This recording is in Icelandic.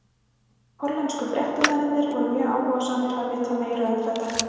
Hollensku fréttamennirnir voru mjög áhugasamir að vita meira um þetta.